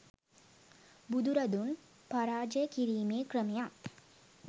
බුදුරදුන් පරාජය කිරීමේ ක්‍රමයත්